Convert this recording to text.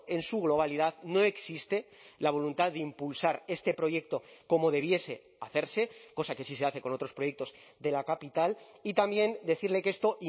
en su globalidad no existe la voluntad de impulsar este proyecto como debiese hacerse cosa que sí se hace con otros proyectos de la capital y también decirle que esto